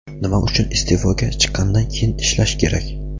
Nima uchun iste’foga chiqqandan keyin ishlash kerak.